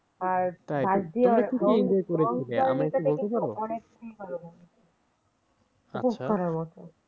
আচ্ছা তাহলে খুবই enjoy করেছ জায়গাটা কি বলতে পারো? আচ্ছা